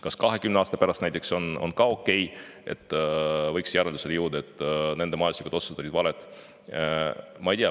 Kas on okei jõuda näiteks 20 aasta pärast järeldusele, et need majanduslikud otsused olid valed?